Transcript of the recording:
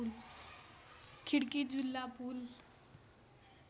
खिड्की ज्यूला पुल